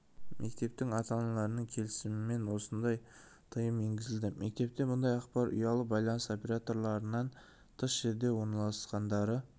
мектептің ата-аналарының келісімімен осныдай тыйым енгізілді мектепте мұндай ақпар жоқ себебі олар бастауыш мектептер немесе ұялы байланыс операторларынан тыс жерде орналасқандары